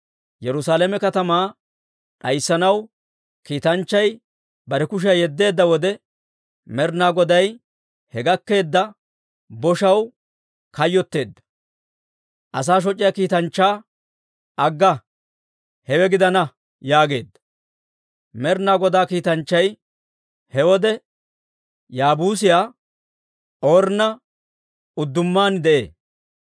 Yerusaalame katamaa d'ayssanaw kiitanchchay bare kushiyaa yeddeedda wode, Med'inaa Goday he gakkeedda boshaw kayyotteedda; asaa shoc'iyaa kiitanchchaa, «Agga! Hewe gidana!» yaageedda. Med'inaa Godaa kiitanchchay he wode Yaabuusiyaa Ornna uddumaan de'ee.